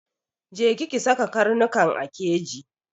Je ki ki saka karnukan a keji!